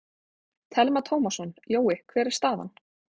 Telma Tómasson: Jói, hver er staðan?